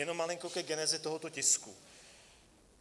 Jenom malinko ke genezi tohoto tisku.